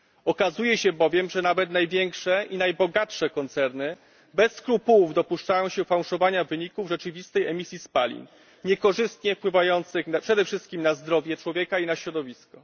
Okazuje się bowiem, że nawet największe i najbogatsze koncerny bez skrupułów dopuszczają się fałszowania wyników rzeczywistej emisji spalin niekorzystnie wpływających przede wszystkim na zdrowie człowieka i na środowisko.